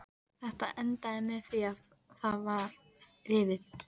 Þetta endaði með því að það var rifið.